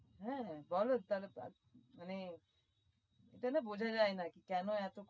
হ্যা এটানা বোঝা যায়না কি কেন এতো